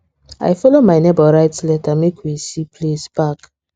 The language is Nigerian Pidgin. i follow my neighbour write letter make we se place park